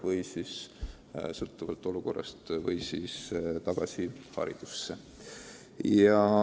Kõik sõltub olukorrast.